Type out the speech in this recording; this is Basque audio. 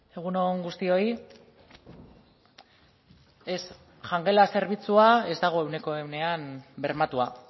egun on guztioi ez jangela zerbitzua ez dago ehuneko ehunean bermatua